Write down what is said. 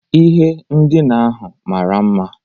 Ihe ndina ahụ mara mma